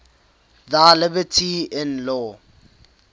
thy liberty in law